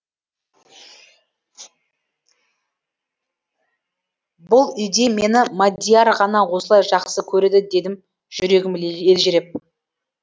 бұл үйде мені мадияр ғана осылай жақсы көреді дедім жүрегім елжіреп